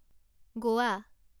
গোৱা